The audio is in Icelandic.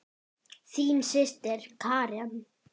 Þín systir Karen.